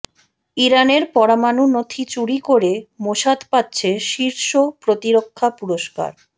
ইরানের পরমাণু নথি চুরি করে মোসাদ পাচ্ছে শীর্ষ প্রতিরক্ষা পুরস্কার